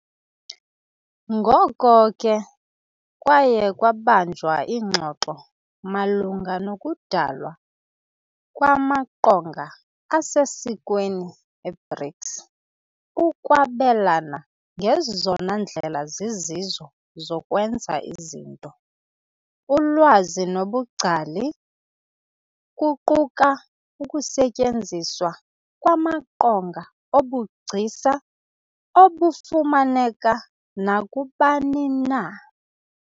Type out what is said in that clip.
Ngoko ke, kwaye kwabanjwa iingxoxo malunga nokudalwa kwamaqonga asesikweni e-BRICS ukwabelana ngezona ndlela zizizo zokwenza izinto, ulwazi nobungcali, kuquka ukusetyenziswa kwamaqonga obugcisa obufumaneka nakubani na.